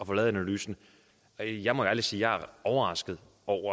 få lavet analysen jeg må ærligt sige at jeg er overrasket